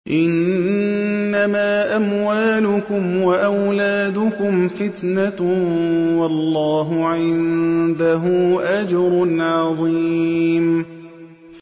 إِنَّمَا أَمْوَالُكُمْ وَأَوْلَادُكُمْ فِتْنَةٌ ۚ وَاللَّهُ عِندَهُ أَجْرٌ عَظِيمٌ